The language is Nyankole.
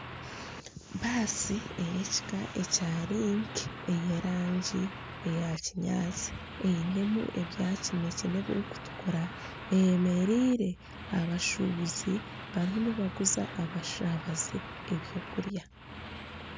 Baasi ey'ekika ekya Link ey'erangi ya kinyaatsi einemu ebya kinekye n'ebirikutukura eyemereire aha bashuubuzi, barimu nibaguza abashaabaze ebyokurya.